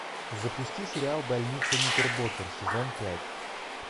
запусти сериал больница никербокер сезон пять